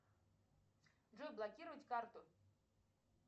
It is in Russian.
джой блокировать карту